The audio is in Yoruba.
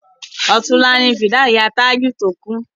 Ọ̀túnla ni fìdáù ìyá Tájù to kú